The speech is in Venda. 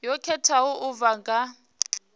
yo khetheaho u bva kha